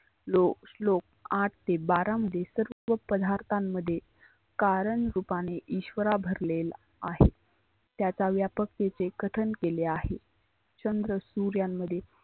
श्लोक श्लोक आठ ते बारा मध्ये सर्व पदार्थांमध्ये कारण रुपाने इश्वरा भरलेला आहे. त्याचा व्यापक रित्या कथन केलेला आहे. चंद्र सुर्यांमध्ये